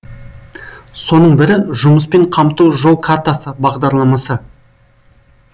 соның бірі жұмыспен қамту жол картасы бағдарламасы